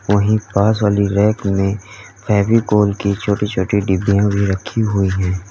वहीं पास वाली रैक मे फेविकोल की छोटी छोटी डिब्बियां भी रखी हुई है।